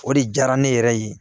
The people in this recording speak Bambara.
O de diyara ne yɛrɛ ye